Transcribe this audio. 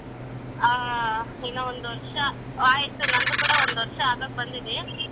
ಹಾ ಇನ್ನ ಒಂದ್ ವರ್ಷ ಆಯ್ತು ನಂದು ಕೂಡ ಒಂದ್ ವರ್ಷ ಆಗಾಕ್ ಬಂದಿದೆ.